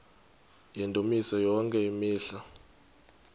yendumiso yonke imihla